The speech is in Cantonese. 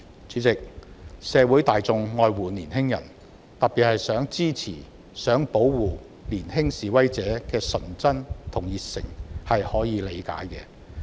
主席，社會大眾愛護年輕人，特別想支持及保護年輕示威者的純真和熱誠，這是可以理解的。